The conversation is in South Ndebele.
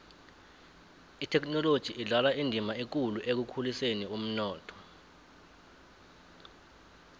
ithekhinoloji idlala indima ekulu ekukhuliseni umnotho